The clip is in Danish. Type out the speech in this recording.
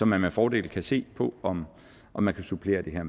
man med fordel kan se på om om man kan supplere det her